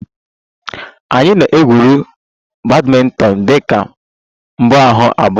Anyị na-egwuri badminton dị ka mbuaha abụọ